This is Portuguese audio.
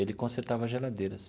Ele consertava geladeiras.